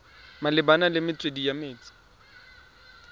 malebana le metswedi ya metsi